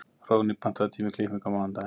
Hróðný, pantaðu tíma í klippingu á mánudaginn.